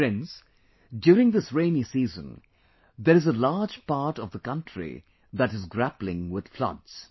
Friends, during this rainy season, there is a large part of the country that is grappling with floods